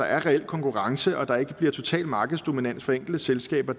er reel konkurrence og at der ikke bliver total markedsdominans for enkelte selskaber